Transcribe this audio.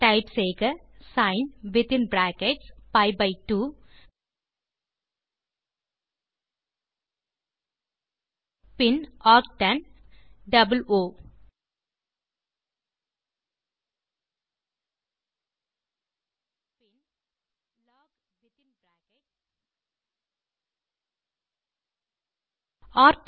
type செய்க sine within brackets p by 2 பின் arctan ஓ பின் லாக் வித்தின் பிராக்கெட்ஸ்